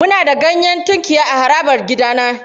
Muna da ganyen tunkiya a harabar gidana.